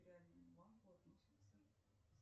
банку относится